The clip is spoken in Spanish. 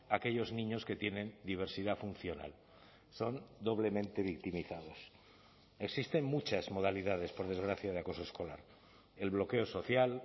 aquellos niños que tienen diversidad funcional son doblemente victimizados existen muchas modalidades por desgracia de acoso escolar el bloqueo social